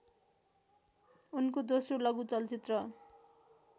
उनको दोस्रो लघु चलचित्र